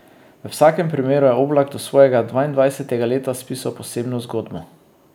V vsakem primeru je Oblak do svojega dvaindvajsetega leta spisal posebno zgodbo.